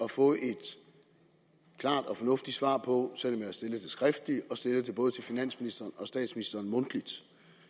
at få et klart og fornuftigt svar på selv om jeg har stillet det skriftligt og stillet det til både finansministeren og statsministeren mundtligt